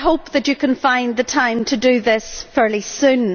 I hope that you can find the time to do this fairly soon.